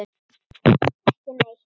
Ekki neitt